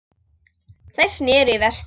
Þeir sneru í vestur.